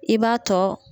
I b'a tɔ